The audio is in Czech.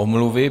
Omluvy.